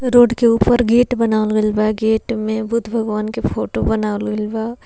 Road के ऊपर gate बनावल बा गेट में बुद्ध भगवान के फोटो बनावल बा।